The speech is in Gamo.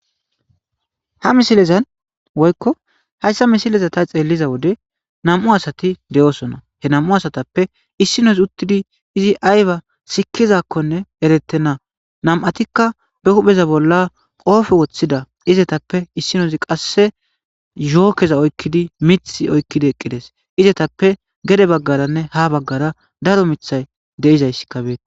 Ha misilezan woykko hayssa misileza tha xeelliza wode nam7u asathi de7oosona; he nam7u asathappe issinozi uththidi izi aybaa sikkizaakkonne ereththenna;nam7athikka ba huupheza bolla qoofe woththida izetappe issinozi qassi zhooketha oykkidi miththi oykkidi eqqi dees; izethappe gede baggaaranne haa baggara daro miththay de7izayssika beeththees.